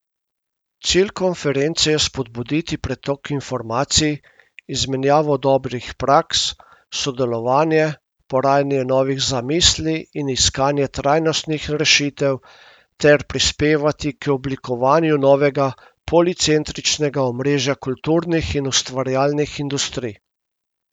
Cilj konference je spodbuditi pretok informacij, izmenjavo dobrih praks, sodelovanje, porajanje novih zamisli in iskanje trajnostnih rešitev ter prispevati k oblikovanju novega policentričnega omrežja kulturnih in ustvarjalnih industrij.